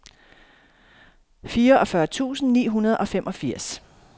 fireogfyrre tusind ni hundrede og femogfirs